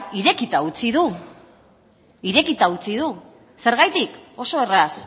irekita utzi du irekita utzi du zergatik oso erraz